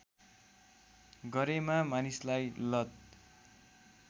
गरेमा मानिसलाई लत